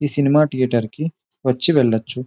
ఈ cinema theatre కి వచ్చి వెళ్లొచ్చు .